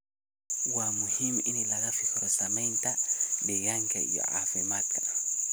Waa muhiim in laga fikiro saamaynta deegaanka iyo caafimaadka.